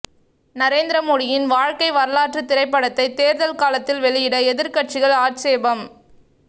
நரேந்திரமோடியின் வாழ்க்கை வரலாற்றுத் திரைப்படத்தை தேர்தல் காலத்தில் வெளியிட எதிர்க்கட்சிகள் ஆட்சேபம்